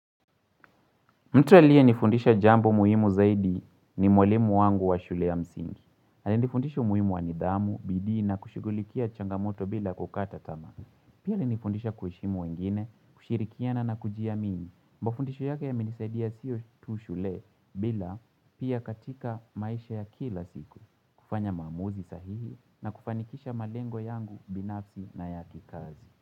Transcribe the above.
Mtu aliyenifundisha jambo muhimu zaidi ni mwalimu wangu wa shule ya msingi. Ali nifundisha umuhimu wanidhamu, bidii na kushughulikia changamoto bila kukata tamaa. Pia ali nifundisha kuheshimu wengine, kushirikiana na kujiamini. Mba fundisho yake ya menisaidia sio tu shule bila pia katika maisha ya kila siku. Kufanya maamuzi sahihi na kufanikisha malengo yangu binafsi na yakikazi.